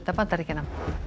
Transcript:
Bandaríkjanna